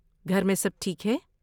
گھر میں سب ٹھیک ہے؟